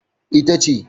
E, ita ce.